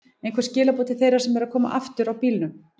Einhver skilaboð til þeirra sem eru að koma aftur á bílum?